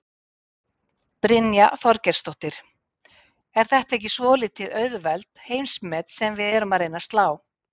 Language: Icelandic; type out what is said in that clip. Brynja Þorgeirsdóttir: Er þetta ekki svolítið auðveld heimsmet sem við erum að reyna að slá?